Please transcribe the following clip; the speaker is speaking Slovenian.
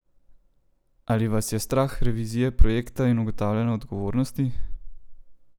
Ali vas je strah revizije projekta in ugotavljanja odgovornosti?